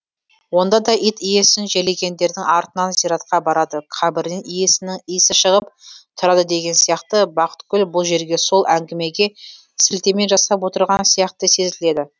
онда да ит иесін жерлегендердің артынан зиратқа барады қабірінен иесінің исі шығып тұрады деген сияқты бақытгүл бұл жерге сол әңгімеге сілтеме жасап отырған сияқты сезіледі